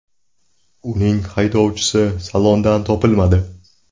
Uning haydovchisi salondan topilmadi .